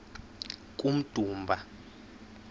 kummdumba